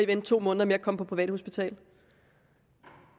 vente to måneder med at komme på privathospital